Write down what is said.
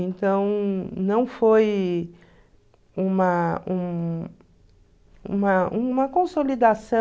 Então, não foi uma um uma uma consolidação